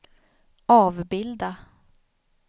avbilda